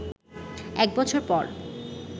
এক বছর পর